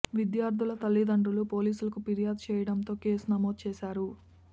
విద్యార్ధుల తల్లిదండ్రులు పోలీసులకు ఫిర్యాదు చేయడంతో కేసు నమోదు చేశారు